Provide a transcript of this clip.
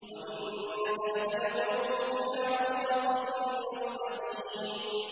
وَإِنَّكَ لَتَدْعُوهُمْ إِلَىٰ صِرَاطٍ مُّسْتَقِيمٍ